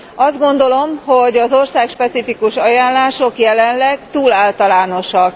Azt gondolom, hogy az országspecifikus ajánlások jelenleg túl általánosak.